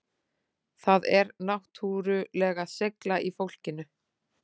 Það er náttúrulega seigla í fólkinu